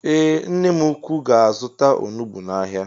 Ee nne mụ ụkwụ ga-azuta ọnụgbu n' áhiá.